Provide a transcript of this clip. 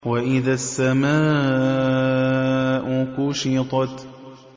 وَإِذَا السَّمَاءُ كُشِطَتْ